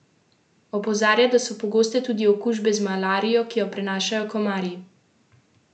Opozarja, da so pogoste tudi okužbe z malarijo, ki jo prenašajo komarji.